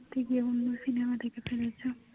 তুমি গিয়ে অন্য সিনেমা দেখে ফেলেছো